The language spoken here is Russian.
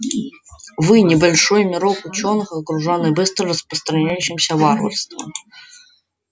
вы небольшой мирок учёных окружённый быстро распространяющимся варварством